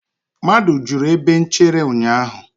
mmadụ juru ebe nchere ụnyahụ